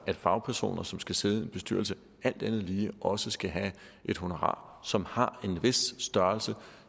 at fagpersoner som skal sidde i en bestyrelse alt andet lige også skal have et honorar som har en vis størrelse